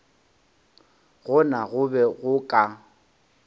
gona go be go ka